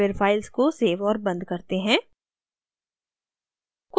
फिर files को save और बंद करते हैं